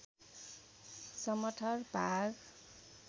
समथर भाग